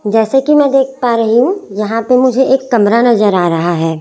जैसे कि मैं देख पा रही हूं यहां पे मुझे एक कमर नजर आ रहा है।